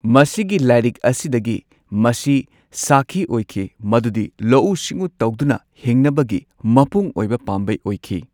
ꯃꯁꯤꯒꯤ ꯂꯥꯏꯔꯤꯛ ꯑꯁꯤꯗꯒꯤ ꯃꯁꯤ ꯁꯥꯈꯤ ꯑꯣꯏꯈꯤ ꯃꯗꯨꯗꯤ ꯂꯧꯎ ꯁꯤꯡꯎ ꯇꯧꯗꯨꯅ ꯍꯤꯡꯅꯕꯒꯤ ꯃꯄꯨꯡ ꯑꯣꯏꯕ ꯄꯥꯝꯕꯩ ꯑꯣꯏꯈꯤ꯫